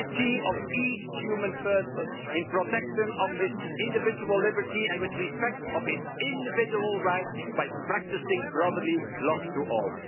dignity of each human person in protection of his individual liberty and with respect for his individual rights by practicing brotherly love to all'.